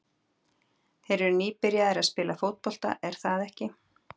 Þeir eru nýbyrjaðir að spila fótbolta, er það ekki?